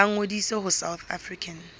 ba ngodise ho south african